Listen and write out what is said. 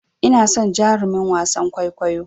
Ina son jarumin wasan kwaikwayon.